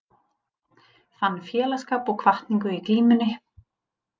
Fann félagsskap og hvatningu í glímunni